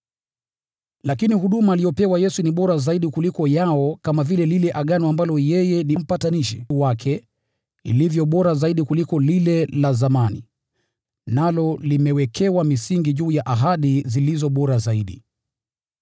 Lakini huduma aliyopewa Yesu ni bora zaidi kuliko yao, kama vile agano ambalo yeye ni mpatanishi wake lilivyo bora zaidi kuliko lile la zamani, nalo limewekwa misingi wa ahadi zilizo bora zaidi.